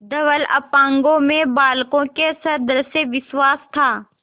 धवल अपांगों में बालकों के सदृश विश्वास था